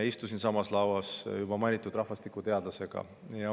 Istusin samas lauas mainitud rahvastikuteadlasega.